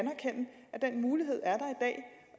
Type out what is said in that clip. den mulighed er